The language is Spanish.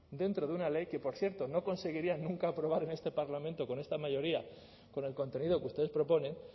dentro de una ley que por ciento no conseguirían nunca aprobar en este parlamento con esta mayoría con el contenido que ustedes proponen